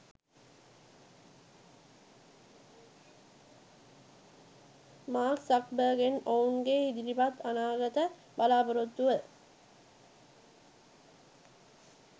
Mark සක්බර්ග්ගෙන් ඔවුන්ගේ ඉදිරි අනාගත බලාපොරොත්තුව